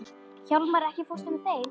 Hjálmar, ekki fórstu með þeim?